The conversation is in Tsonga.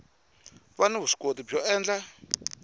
va ni vuswikoti byo endla